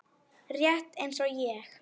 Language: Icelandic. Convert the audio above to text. Rétt eins og ég.